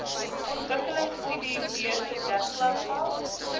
ontwikkelingstudiebeurse dek klasgeld